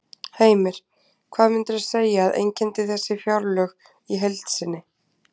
Heimir: Hvað myndirðu segja að einkenndi þessi fjárlög í heild sinni?